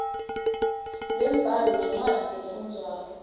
lwembhalo nencwadzi lefundvwako